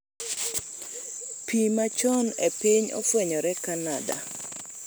Pii machon e piny ofwenyore Canada